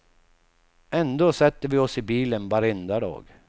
Ändå sätter vi oss i bilen varenda dag.